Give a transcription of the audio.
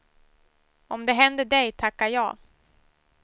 Om det händer dig, tacka ja.